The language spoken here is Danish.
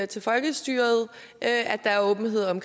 til folkestyret at der er åbenhed om